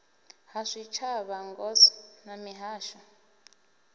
ha zwitshavha ngos na mihasho